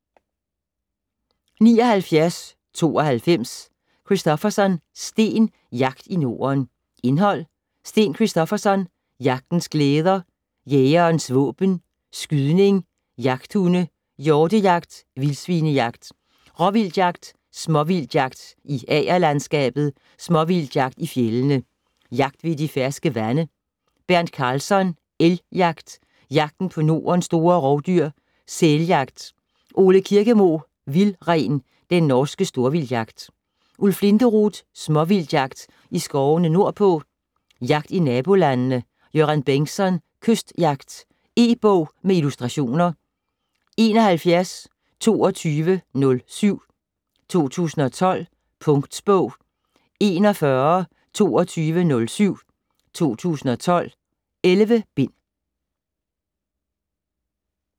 79.92 Christofferson, Sten: Jagt i Norden Indhold: Sten Christofferson: Jagtens glæder ; Jægerens våben ; Skydning ; Jagthunde ; Hjortejagt ; Vildsvinejagt ; Råvildtjagt ; Småvildtjagt i agerlandskabet ; Småvildtjagt i fjeldene ; Jagt ved de ferske vande. Bernt Karlsson: Elgjagt ; Jagten på Nordens store rovdyr ; Sæljagt. Ole Kirkemo: Vildren - den norske storvildtjagt. Ulf Linderoth: Småvildtjagt i skovene nordpå ; Jagt i nabolandene. Göran Bengtsson: Kystjagt. E-bog med illustrationer 712207 2012. Punktbog 412207 2012.11 bind.